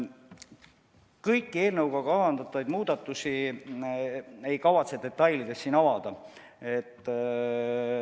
Kõiki eelnõuga kavandatavaid muudatusi ma ei kavatse siin detailides avada.